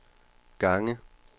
gange